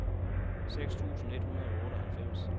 seks tusind et hundrede og otteoghalvfems